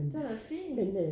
Den er da fin